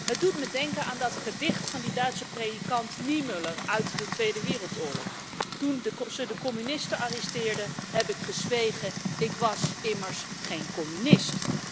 Het doet me denken aan dat gedicht van die Duitse predikant Niemöller uit de tweede wereldoorlog Toen ze de communisten arresteerden heb ik gezwegen, ik was immers geen communist.